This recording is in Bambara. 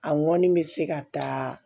A ŋɔni bɛ se ka taa